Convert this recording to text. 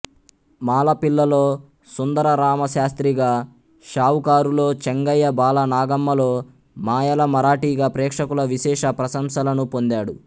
మాలపిల్లలో సుందర రామశాస్త్రిగా షావుకారులో చెంగయ్య బాలనాగమ్మలో మాయల మరాఠీగా ప్రేక్షకుల విశేష ప్రశంసలను పొందాడు